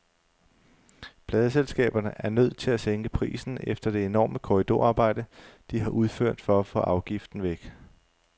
Pladeselskaberne er nødt til at sænke prisen efter det enorme korridorarbejde, de har udført for at få afgiften væk.